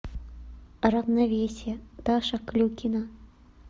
равновесие даша клюкина